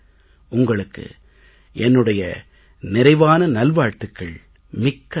உங்களுக்கு என்னுடைய நிறைவான நல்வாழ்த்துக்கள் மிக்க நன்றி